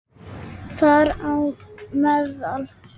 Þar á meðal